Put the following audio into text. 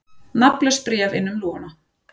Nafnlaust bréf inn um lúguna